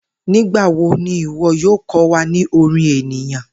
Nigbawo ni iwọ yoo kọ wa ni orin eniyan?